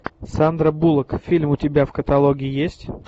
сандра буллок фильм у тебя в каталоге есть